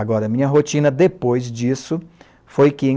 Agora, a minha rotina depois disso foi que, em